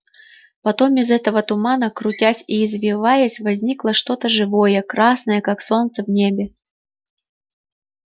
потом из этого тумана крутясь и извиваясь возникло что-то живое красное как солнце в небе